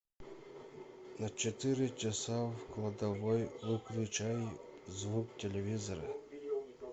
на четыре часа в кладовой выключай звук телевизора